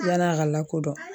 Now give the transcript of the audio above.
Yann'a ka lakodɔn.